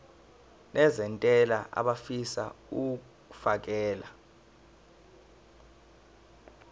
nezentela abafisa uukfakela